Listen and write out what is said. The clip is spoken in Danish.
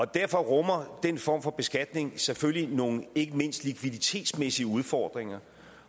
derfor rummer den form for beskatning selvfølgelig nogle ikke mindst likviditetsmæssige udfordringer